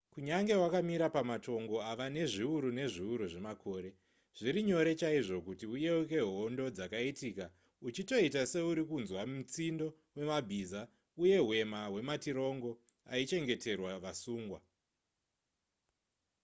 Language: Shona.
kunyange wakamira pamatongo ava nezviuru nezviuru zvemakore zviri nyore chaizvo kuti uyeuke hondo dzakaitika uchitoita seuri kunzwa mutsindo wemabhiza uye hwema hwematirongo aichengeterwa vasungwa